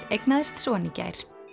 eignaðist son í gær